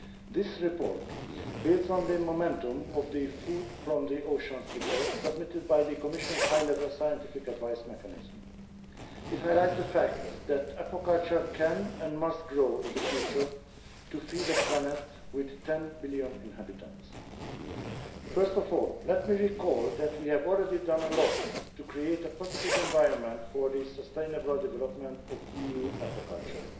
This report builds on the momentum of the Food from the oceans' report submitted by the Commission's High Level Scientific Advice Mechanism. It highlights the fact that aquaculture can and must grow in the future to feed a planet with 10 billion inhabitants. First of all, let me recall that we have already done a lot to create a positive environment for the sustainable development of EU aquaculture.